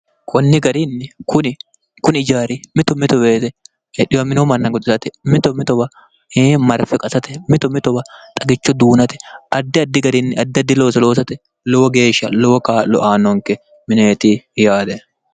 konni garinni kuni ijaari mito mitoweete edhiwa minoo manna goxeste mito mitowaee marfe qasate mito mitowa xagicho duunate addi addi garinni addi addi looso loosate lowo geeshsha lowo kaa'lo aannonke mineeti yaate